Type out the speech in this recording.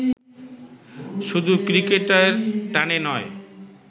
শুধু ক্রিকেটের টানে নয়